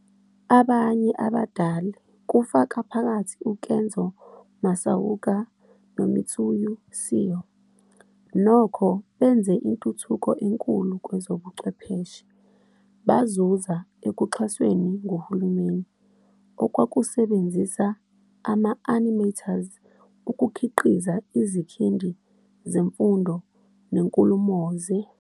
Abanye abadali, kufaka phakathi uKenzō Masaoka noMitsuyo Seo, nokho benze intuthuko enkulu kwezobuchwepheshe, bazuza ekuxhasweni nguhulumeni, okwakusebenzisa ama-animators ukukhiqiza izikhindi zemfundo nenkulumo-ze.